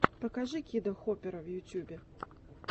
покажи кида хопера в ютубе